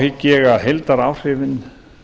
hygg ég að heildaráhrifin